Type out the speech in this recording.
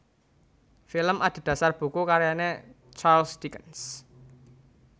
Film adhedhasar buku karyané Charles Dickens